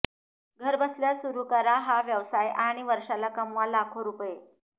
घरबसल्या सुरू करा हा व्यवसाय आणि वर्षाला कमवा लाखो रुपये